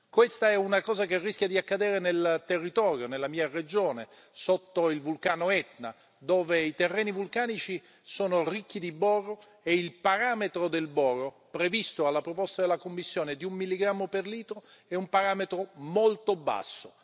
Questa è una cosa che rischia di accadere nel territorio della mia regione, sotto il vulcano Etna, dove i terreni vulcanici sono ricchi di boro e il parametro del boro previsto dalla proposta della Commissione di un milligrammo per litro è un parametro molto basso.